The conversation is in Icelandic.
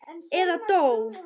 Eða dó.